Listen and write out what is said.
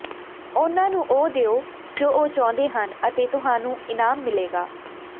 ਉਹਨਾਂ ਨੂੰ ਉਹ ਦਿਓ ਜੋ ਉਹ ਚਾਹੁੰਦੇ ਹਨ ਅਤੇ ਤੁਹਾਨੂੰ ਇਨਾਮ ਮਿਲੇਗਾ